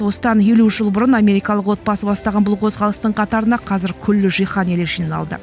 осыдан елу жыл бұрын америкалық отбасы бастаған бұл қозғалыстың қатарына қазір күллі жиһан елі жиналды